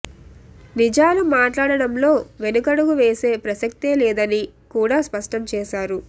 నిజాలు మాట్లాడడంలో వెనకడుగు వేసే ప్రసక్తే లేదని కూడా స్పష్టం చేశారు